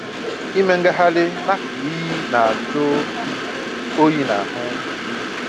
Ịme ngagharị nakụkụ iyi na-ajụ oyi nahụ